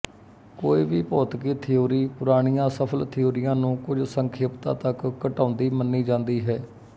ਕੋਈ ਵੀ ਭੌਤਿਕੀ ਥਿਊਰੀ ਪੁਰਾਣੀਆਂ ਸਫ਼ਲ ਥਿਊਰੀਆਂ ਨੂੰ ਕੁੱਝ ਸੰਖੇਪਤਾ ਤੱਕ ਘਟਾਉਂਦੀ ਮੰਨੀ ਜਾਂਦੀ ਹੈ